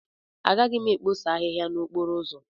Agaghị m ekposa ahịhịa n'okporo ụzọ ọzọ.